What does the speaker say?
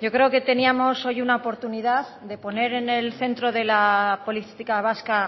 yo creo que teníamos hoy una oportunidad de poner en el centro de la política vasca